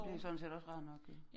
Det sådan set også rart nok jo